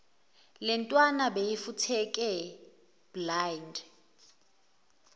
lentwana beyifutheke blind